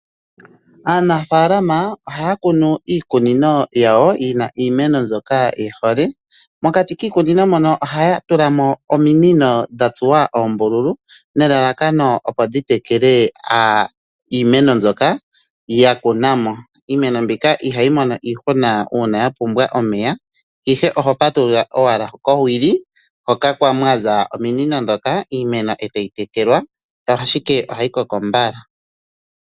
Aanafaalama ohaya kunu iikunino yawo yina iimeno mbyoka ye hole. Mokati kiikunino mono ohaya tula mo ominino dhatsuwa oombululu nelalakano opo dhi tekele iimeno mbyoka ya kuna mo. Iimeno mbika ihayi mono iihuna uuna ya pumbwa omeya, ihe oho patulula owala kowili hoka mwaza ominino ndhoka, iimeno evtayi tekelwaashike ohayi koko mbala.